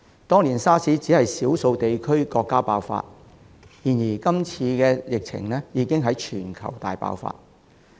當年 SARS 只在少數地區和國家爆發，但今次疫情已經在全球大爆發。